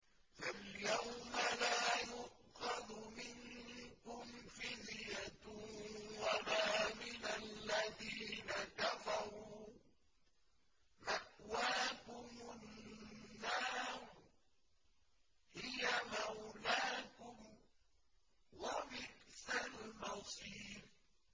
فَالْيَوْمَ لَا يُؤْخَذُ مِنكُمْ فِدْيَةٌ وَلَا مِنَ الَّذِينَ كَفَرُوا ۚ مَأْوَاكُمُ النَّارُ ۖ هِيَ مَوْلَاكُمْ ۖ وَبِئْسَ الْمَصِيرُ